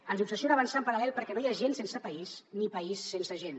ens obsessiona avançar en paral·lel perquè no hi ha gent sense país ni país sense gent